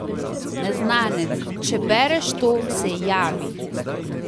Neznanec, če bereš to, se javi!